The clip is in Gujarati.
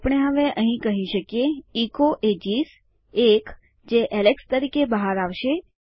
તો આપણે હવે કહી શકીએ ઇકો એજીસ એક જે એલેક્સ તરીકે બહાર આવશે